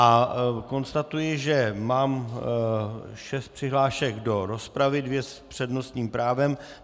A konstatuji, že mám šest přihlášek do rozpravy, dvě s přednostním právem.